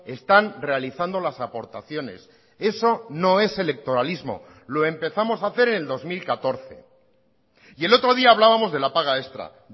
están realizando las aportaciones eso no es electoralismo lo empezamos a hacer en el dos mil catorce y el otro día hablábamos de la paga extra